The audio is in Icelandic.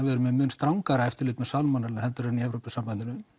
við erum með mun strangar eftirlit með heldur en í Evrópusambandinu